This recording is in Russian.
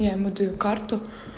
я ему даю карту